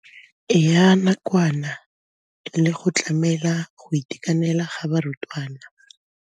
Ya nakwana le go tlamela go itekanela ga barutwana.